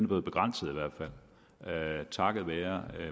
blevet begrænset takket være